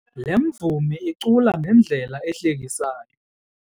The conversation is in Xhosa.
Le mvumi icula ngendlela ehlekisayo.